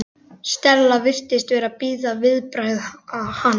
Stella virtist vera að bíða viðbragða hans.